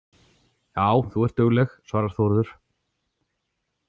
Já, þú ert dugleg, svarar Þórður.